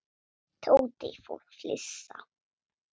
Tóti fór að flissa.